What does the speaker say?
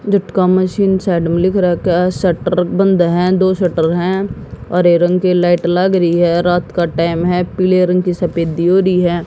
झटका machine side में लिख रखा है शटर बंद है दो शटर है हरे रंग के लाइट लाग रही है रात का टाइम है पीले रंग की सफेदी दियोरी है।